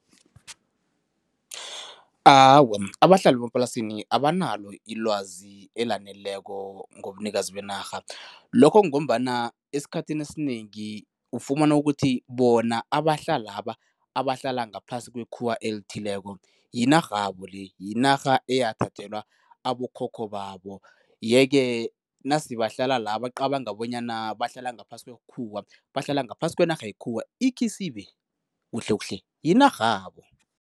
Awa, abahlali bemaplasini abanalo ilwazi elaneleko ngobunikazi benarha. Lokho kungombana esikhathini esinengi ufumana ukuthi bona abahlalaba abahlala ngaphasi kwekhuwa elithileko, yinarhabo le, yinarha eyathathelwa abokhokho babo yeke nase bahlala la bacabanga bonyana bahlala ngaphasi kwekhuwa, bahlala ngaphasi kwenarha yekhuwa ikhisibe kuhlekuhle yinarhabo.